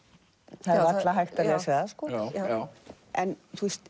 það er varla hægt að lesa það en